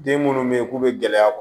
Den minnu bɛ yen k'u bɛ gɛlɛya